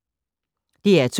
DR2